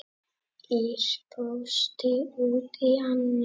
Ýr brosti út í annað.